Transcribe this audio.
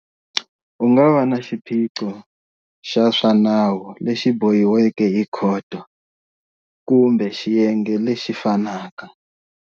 U nga va na xiphiqo xa swa nawu lexi bohiweke hi khoto, kumbe xiyenge lexi fanaka.